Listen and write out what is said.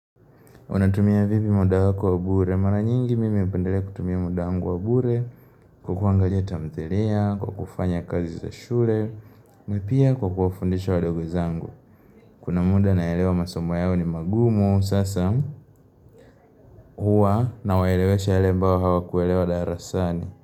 Unatumia vipi muda wako wa bure? Mara nyingi mimi hupendelea kutumia muda wa bure kwa kuangalia tamthilia, kwa kufanya kazi za shule, na pia kwa kuwafundisha ndugu zangu. Kuna muda naelewa masomo yao ni magumu sasa huwa nawaelewesha yale ambayo hawakuelewa darasani.